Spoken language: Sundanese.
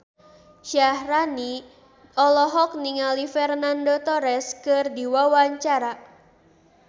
Syaharani olohok ningali Fernando Torres keur diwawancara